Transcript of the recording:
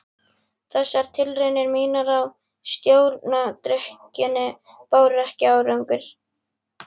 Þessar tilraunir mínar til að stjórna drykkjunni báru ekki árangur.